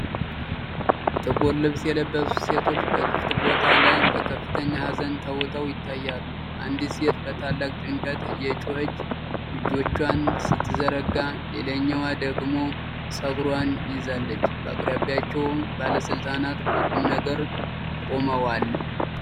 ጥቁር ልብስ የለበሱ ሴቶች በክፍት ቦታ ላይ በከፍተኛ ሀዘን ተውጠው ይታያሉ። አንዲት ሴት በታላቅ ጭንቀት እየጮኸች እጆቿን ስትዘረጋ፣ ሌላኛዋ ደግሞ ፀጉሯን ይዛለች። በአቅራቢያቸው ባለስልጣናት በቁም ነገር ቆመዋል።